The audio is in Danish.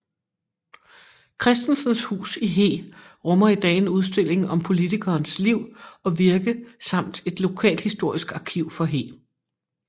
Chrsitensens hus i Hee rummer i dag en udstilling om politikerens liv og virke samt et lokalhistorisk arkiv for Hee